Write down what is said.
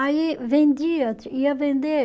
Aí vendia, ia vender.